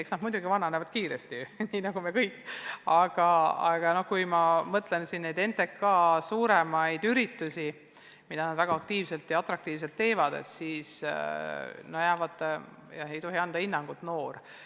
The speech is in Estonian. Eks nooredki vananevad kiiresti, nii nagu me kõik, aga kui ma mõtlen NTK suurematele üritustele, mida nad väga aktiivselt ja atraktiivselt teevad, siis leian, et ei tohi anda hinnangut sõnale "noor".